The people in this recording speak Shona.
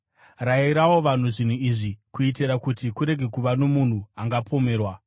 Rayirawo vanhu zvinhu izvi, kuitira kuti kurege kuva nomunhu angapomerwa.